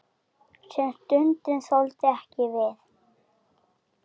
Sem stundum þoldu ekki við.